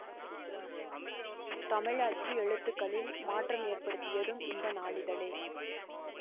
தமிழ் அச்சு எழுத்துகளில் மாற்றம் ஏற்படுத்தியதும் இந்த நாளிதழே